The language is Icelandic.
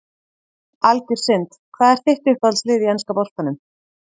Algjör synd Hvað er þitt uppáhaldslið í enska boltanum?